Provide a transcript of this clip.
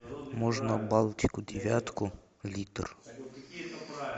можно балтику девятку литр